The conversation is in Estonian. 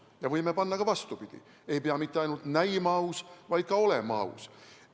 Me võime öelda ka vastupidi: ei pea mitte ainult näima aus, vaid ka olema aus.